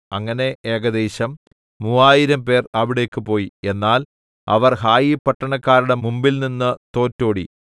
അങ്ങനെ ഏകദേശം മൂവായിരംപേർ അവിടേക്ക് പോയി എന്നാൽ അവർ ഹായിപട്ടണക്കാരുടെ മുമ്പിൽനിന്ന് തോറ്റോടി